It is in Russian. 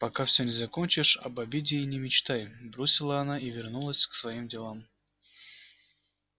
пока все не закончишь об обеде и не мечтай бросила она и вернулась к своим делам